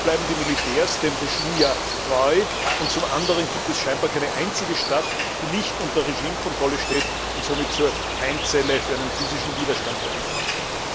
Zum einen bleiben die Militärs dem Regime treu, und zum anderen gibt es scheinbar keine einzige Stadt, die nicht unter Regimekontrolle steht und somit zur Keimzelle für physischen Widerstand werden könnte.